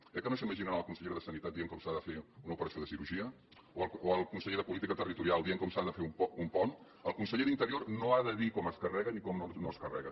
eh que no s’imaginen la consellera de sanitat dient com s’ha de fer una operació de cirurgia o al conseller de política territorial dient com s’ha de fer un pont el conseller d’interior no ha de dir com es carrega ni com no es carrega